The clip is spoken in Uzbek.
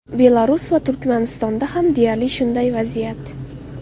Belarus va Turkmanistonda ham deyarli shunday vaziyat.